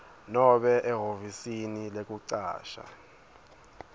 nobe ehhovisi lekucasha